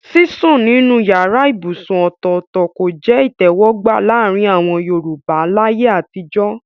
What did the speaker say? Sísùn nínú yàrá ibùsùn ọ̀tọ̀ọ̀tọ̀ kò jẹ́ ìtẹ̀wọ́gbà láàrin àwọn Yorùbá láyé àtijọ́